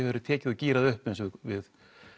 verði tekið og gírað upp eins og við